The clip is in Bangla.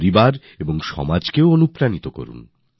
পরিবারকে সমাজকে প্রাণিত করুন